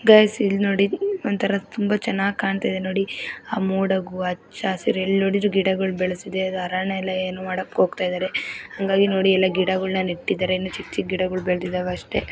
Guys ಇಲಿ ನೋಡಿ ವಂತರಾ ತುಂಬಾ ಚೆನ್ನಾಗಿದೆ ಕಾಣ್ತಾಯಿದೆ ನೋಡಿ ಆ ಮೂಡಗು ಅಚ ಹಸಿರ ಎಲ್ಲ ನೋಡಿದ್ರು ಗಿಡಗಳು ಬೆಳೆಸಿದ್ದೆಅದು ಅರಣ್ಯಇಲಾ ಏನು ಮಾಡೋಕೆ ಹೋಗ್ತಿದ್ದಾರೆ ಹಂಗಾಗಿ ನೋಡಿಲ ಗಿಡಗಳನ್ನು ನೆಟ್ಟಿದ್ದಾರೆ ಚಿಕ್ ಚಿಕ್ ಗಿಡಗಳು ಬೆಳೆದಿದೆ ಅಷ್ಟೇ.